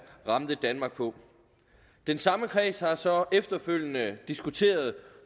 ramte danmark på den samme kreds har så efterfølgende diskuteret